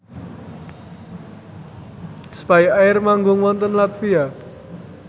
spyair manggung wonten latvia